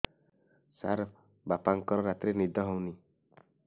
ସାର ବାପାଙ୍କର ରାତିରେ ନିଦ ହଉନି